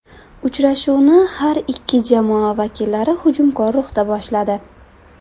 Uchrashuvni har ikki jamoa vakillari hujumkor ruhda boshladi.